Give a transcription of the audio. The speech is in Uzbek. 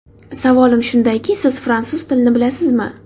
Savolim shundayki, siz fransuz tilini bilasizmi?